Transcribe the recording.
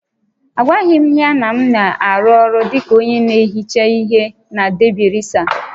Agwaghị m ya na m na-arụ ọrụ dị ka onye na-ehicha ihe na Debi resa